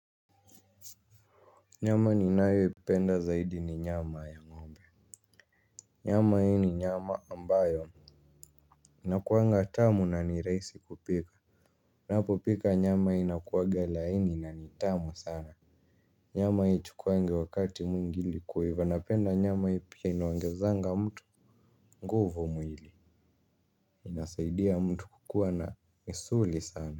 Nyama ni nayo ipenda zaidi ni nyama ya ng'ombe. Nyama hii ni nyama ambayo inakuanga tamu na niraisi kupika. Ninapo pika nyama inakuaga ni laini na ni tamu sana. Nyama haichukuangi wakati mwingi kuiva napenda nyama hii pia inaongezanga mtu nguvo mwili. Inasaidia mtu kukua na misuli sana.